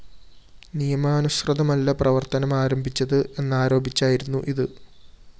നിയമാനുസൃതമല്ല പ്രവര്‍ത്തനമാരംഭിച്ചത് എന്നരോപിച്ചായിരുന്നു ഇത്